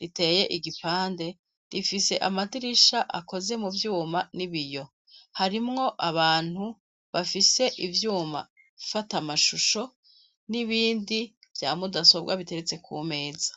riteye igipande rifise amadirisha akoze mu vyuma n'ibiyo; harimwo abantu bafise ivyuma fata amashusho n'ibindi bya mudasobwa biteretse kumeza.